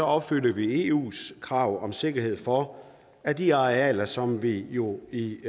opfylder vi eus krav om sikkerhed for at de arealer som vi jo i